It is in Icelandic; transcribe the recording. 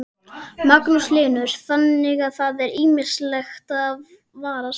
Magnús Hlynur: Þannig að það er ýmislegt að varast?